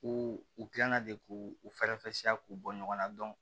U u gilanna de k'u u fɛɛrɛfɛsiya k'u bɔ ɲɔgɔn na